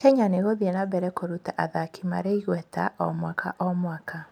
Kenya nĩ ĩgũthiĩ na mbere kũruta athaki marĩ igweta mwaka o mwaka.